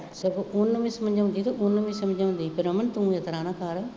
ਅਤੇ ਉਹਨੂੰ ਵੀ ਸਮਝਾਉਂਦੀ, ਉਹਨੂੰ ਵੀ ਸਮਝਾਉਂਦੀ ਕਿ ਰਮਨ ਤੂੰ ਇਸ ਤਰ੍ਹਾਂ ਨਾ ਕਰ